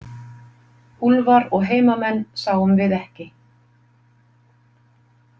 Úlfar og heimamenn sáum við ekki.